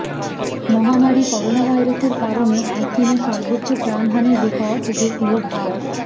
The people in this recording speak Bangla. মহামারি করোনাভাইরাসের কারণে একদিনে সর্বোচ্চ প্রাণহানির রেকর্ড দেখলো ভার